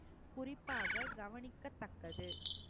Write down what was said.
குறிப்பாக கவனிக்கத்தக்கது.